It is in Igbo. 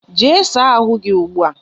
Jee saa ahụ gị ugbu a!